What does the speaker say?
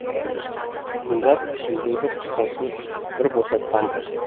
тыңдап ішіндегі құсасын бір босатқан болды